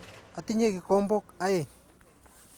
Atinye kikombok aeng'.